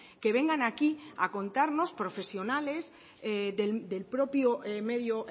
que vengan aquí a contarnos profesionales el propio medio